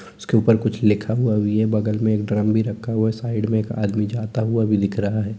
उसके ऊपर कुछ लिखा हुआ है बगल में एक ड्रम भी रखा हुआ है साइड में एक आदमी जाता हुआ भी दिख रहा है।